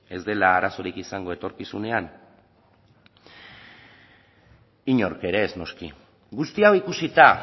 ez dela arazorik egongo etorkizunean inork ere ez noski guzti hau ikusita